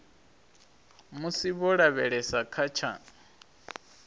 musi vho lavhelesa kha tsha